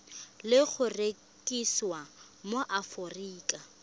le go rekisiwa mo aforika